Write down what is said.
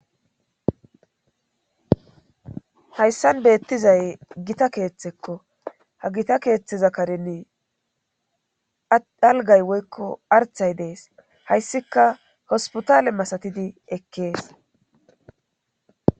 hayssan beettizay gita keeththekko ha gita keeththeza kareni algay woykko arthay dees hayssika hospotale masatidi ekkees